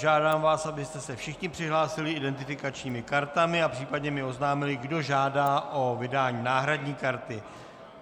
Žádám vás, abyste se všichni přihlásili identifikačními kartami a případně mi oznámili, kdo žádá o vydání náhradní karty.